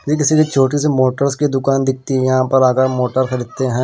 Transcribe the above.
ये किसी छोटी सी मोटर्स की दुकान दिखती है यहां पर अगर मोटर खरीदते हैं।